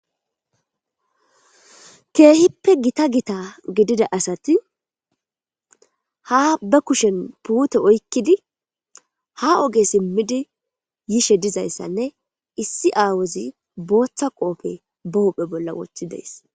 Keehippe gita gita gidida asati ha ba kushen puute oykkidi ha oge simmidi yishe dizayssanne issi aawozi booththa qoofe bahopphe bolla woththi dees.